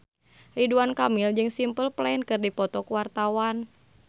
Ridwan Kamil jeung Simple Plan keur dipoto ku wartawan